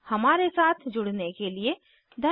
हमारे साथ जुड़ने के लिए धन्यवाद